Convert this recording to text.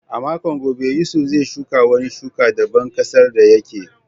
A makon gobe, Yusuf zai shuka wani shuka daban ƙasar da yake.